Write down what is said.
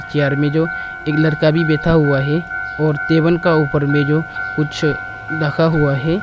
Chair में जो एक लड़का भी बैठा हुआ है और टेबन का ऊपर में जो कुछ ढका हुआ है।